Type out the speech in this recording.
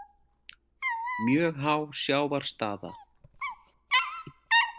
Mjög há sjávarstaða